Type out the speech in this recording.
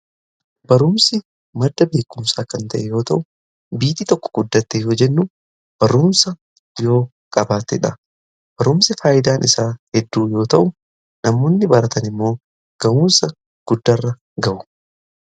barumsi marda beekuumsaa kan ta'e yoo ta'u biitii tokko guddatte yoo jennu baruumsa yoo qabaateedha barumsi faayyidaan isaa hedduu yoo ta'u namoonni baratan immoo ga'uunsa guddarra ga'u